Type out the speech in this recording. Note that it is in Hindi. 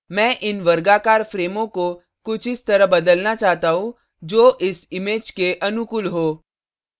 मैं इन वर्गाकार frames को कुछ इस तरह बदलना चाहता हूँ जो इस image के अनुकूल हो